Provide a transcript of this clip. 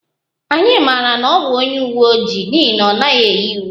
Anyị amaghị na ọ bụ onye uwe ojii n'ihi na ọ naghị eyi uwe